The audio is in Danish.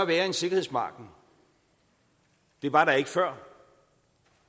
være en sikkerhedsmargen det var der ikke før